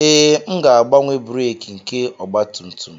Ee, m ga-agbanwe breeki nke ọgba tum tum